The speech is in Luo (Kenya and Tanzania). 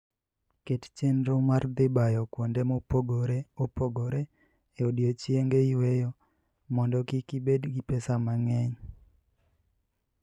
Ket chenro mar dhi bayo kuonde mopogore opogore e odiechienge yueyo mondo kik ibed gi pesa mang'eny.